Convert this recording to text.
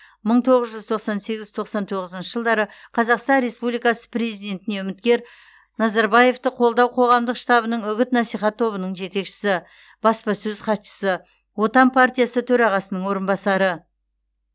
мың тоғыз жүз тоқсан сегіз тоқсан тоғызыншы жылдары қазақстан республикасы президентіне үміткер назарбаевты қолдау қоғамдық штабының үгіт насихат тобының жетекшісі баспасөз хатшысы отан партиясы төрағасының орынбасары